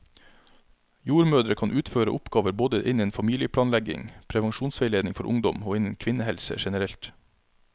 Jordmødre kan utføre oppgaver både innen familieplanlegging, prevensjonsveiledning for ungdom og innen kvinnehelse generelt.